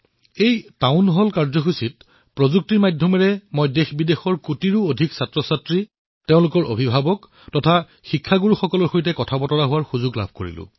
এই town hall কাৰ্যসূচীত প্ৰযুক্তিৰ জৰিয়তে দেশবিদেশৰ কোটি কোটি শিক্ষাৰ্থীৰ সৈতে তেওঁলোকৰ অভিভাৱকৰ সৈতে শিক্ষকৰ সৈতে কথা পতাৰ সুবিধা লাভ কৰিছিলো